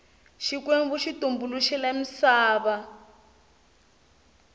xikwembu xi tumbuluxile misava